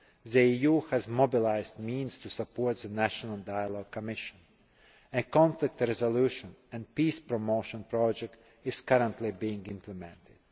The EU has mobilised the means to support the National Dialogue Commission. A conflict resolution and peace promotion project is currently being implemented.